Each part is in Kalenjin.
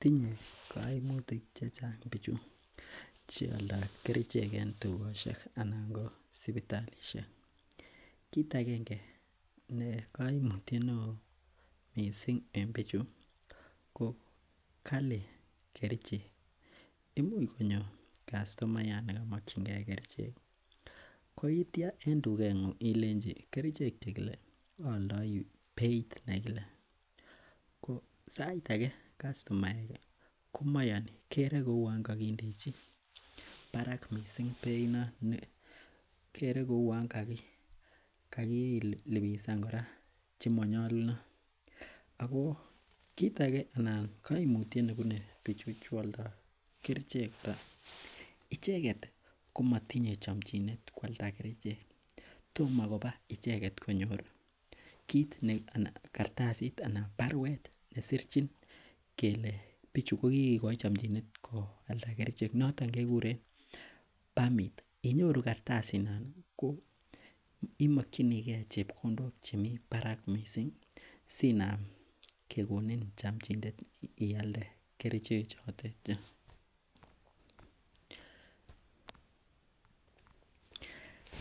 Tinye koimutik chechang bichu cheoldoo kerichek en tugosiek anan ko sipitalisiek. Kit agenge ne koimutiet neoo missing en bichu ko kali kerichek imuch konyor kastomayat nekimokyingee kerichek koitya en tuget ng'ung ilenji kerichek chekile aoldoi beit nekile ko sait age ko kastomaek ih komayoni kere koun kokindechi barak missing beit non kere kouon kakiliposan kora chemonyolunot ako kit age ana koimutiet nebune bichu cheoldoo kerichek icheket komotinye chomchinet koalda kerichek tomo koba icheket konyor kit ana kartasit ana baruet nesirchin kele bichu kokikikoi chomchinet koalda kerichek noton kekeuren pamit inyoru kartasit non ko imokyinigee chepkondok chemii barak missing sinam kekonin chomchinet ialde kerichek chotet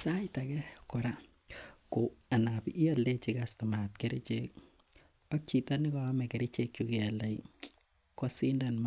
sait age kora ko anan ioldechi kastomayat kerichek ak chito nekoome kerichek chu keoldoi kosindan